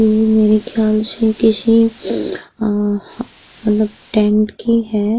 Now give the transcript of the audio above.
ये मेरे ख्याल शे किशी अ मतलब टेंट की है।